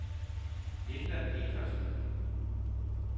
Linda Petersen